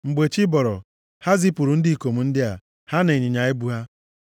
Mgbe chi bọrọ, ha zipụrụ ndị ikom ndị a, ha na ịnyịnya ibu ha.